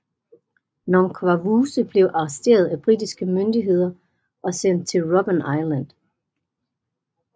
Nongqawuse blev arresteret af britiske myndigheder og sendt til Robben Island